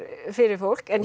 fyrir fólk en